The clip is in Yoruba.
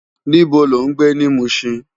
Nibó ló n gbé ni Mushin?